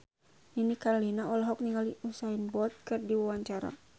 Nini Carlina olohok ningali Usain Bolt keur diwawancara